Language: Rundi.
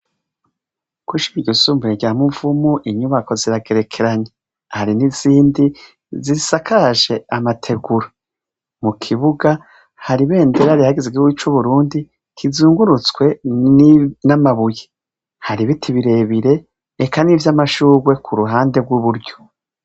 Kw'ishure ryisumbuye rya Muvumu, inyubako ziragerekeranye. Hari n'izindi zisakaje amategura. Mu kibuga hari ibendera rihayagiza igihugu c'Uburundi kizungurutswe n'amabuye. Hari ibiti birebire, eka n'ivy'amashurwe ku ruhande rw'iburyo.